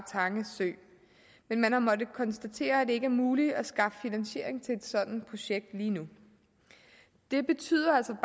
men man har måttet konstatere at det ikke er muligt at skaffe finansiering til et sådant projekt lige nu det betyder altså